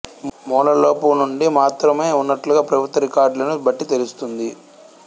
ముల లోపు నుండి మాత్రమే ఉన్నట్లుగా ప్రభుత్వ రికార్డులను బట్టి తెలుస్తుంది